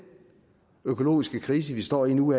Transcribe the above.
økologiske krise vi står i nu